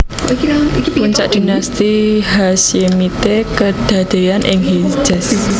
Puncak Dinasti Hashemite kedadéyan ing Hejaz